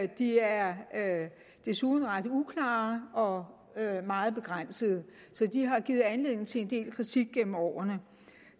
de er desuden ret uklare og meget begrænsede så de har givet anledning til en del kritik gennem årene